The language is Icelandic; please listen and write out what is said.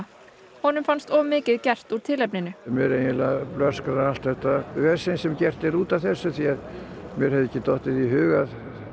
honum fannst of mikið gert úr tilefninu mér eiginlega blöskrar allt þetta vesen sem gert er út af þessu af því að mér hefði ekki dottið í hug að